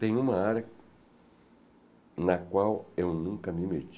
Tem uma área na qual eu nunca me meti.